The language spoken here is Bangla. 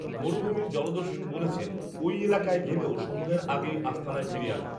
মরুভূমির জলদস্যু বলেছেন, ঐএলাকায় গেলেও সন্ধ্যার আগেই আস্তানায় ফিরে আসব